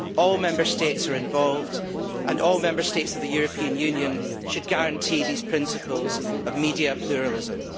All Member States are involved, and all Member States of the European Union should guarantee these principles of media pluralism.